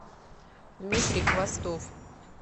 дмитрий хвостов